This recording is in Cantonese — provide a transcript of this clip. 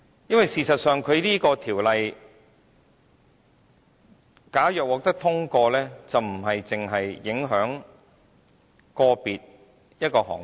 因為事實上，《條例草案》假若獲得通過，便不單影響個別行業。